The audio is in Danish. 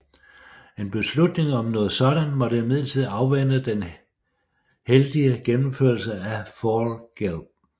En beslutning om noget sådant måtte imidlertid afvente den heldige gennemførelse af Fall Gelb